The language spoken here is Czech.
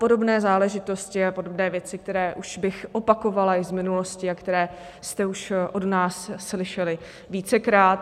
Podobné záležitosti a podobné věci, které už bych opakovala již z minulosti a které jste už od nás slyšeli vícekrát.